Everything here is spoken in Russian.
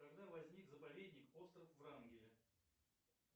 когда возник заповедник остров врангеля